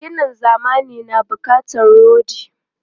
Ginin zamani na bukatar rodi.